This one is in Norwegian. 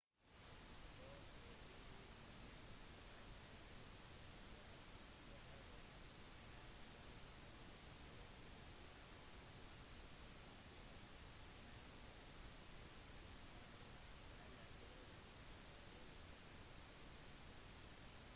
for å bli med i et slikt nettverk behøver man vanligvis bare å fylle ut et nettskjema men enkelte nettverk tilbyr eller krever ekstra verifisering